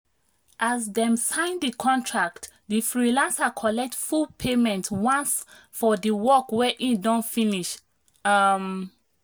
as dem sign the contract the freelancer collect full payment once for the work wey e don finish. um